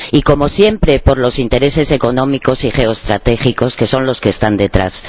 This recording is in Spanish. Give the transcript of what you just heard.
Y, como siempre, por los intereses económicos y geoestratégicos, que son los que están detrás.